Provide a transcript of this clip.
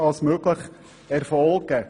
blatts möglichst rasch erfolgen.